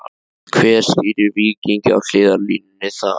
Hver stýrir Víkingi á hliðarlínunni þar?